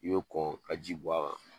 I bɛ kɔn ka ji bɔn a kan